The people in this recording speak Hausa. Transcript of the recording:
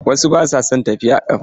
Wasu ba su son tafiya a ƙafa.